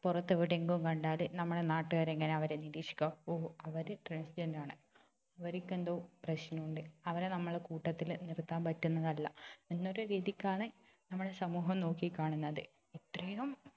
പുറത്തെവിടെങ്കും കണ്ടാൽ നമ്മുടെ നാട്ടുകാരെങ്ങനാ അവരെ നിരീക്ഷിക്കുക ഓ അവര് transgender ആണ് അവരിക്കെന്തോ പ്രശ്നോണ്ട് അവരെ നമ്മുടെ കൂട്ടത്തില് നിർത്താൻ പറ്റുന്നതല്ല എന്നൊരു രീതിക്കാണ് നമ്മുടെ സമൂഹം നോക്കിക്കാണുന്നത് ഇത്രയും